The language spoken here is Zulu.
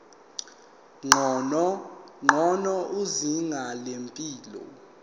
ngcono izinga lempilo